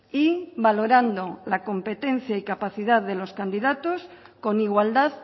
y valorando la competencia y capacidad de los candidatos con igualdad